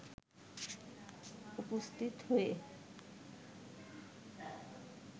উপস্থিত হয়ে